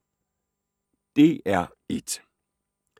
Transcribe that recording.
DR1